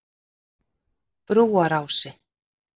Brúarási